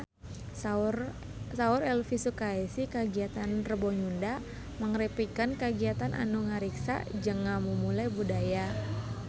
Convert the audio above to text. Saur Elvy Sukaesih kagiatan Rebo Nyunda mangrupikeun kagiatan anu ngariksa jeung ngamumule budaya Sunda